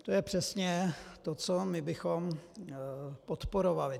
To je přesně to, co my bychom podporovali.